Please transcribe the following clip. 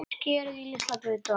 Skerið í litla bita.